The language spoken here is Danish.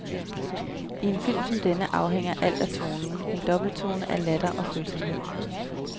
I en film som denne afhænger alt af tonen, en dobbelttone af latter og følsomhed.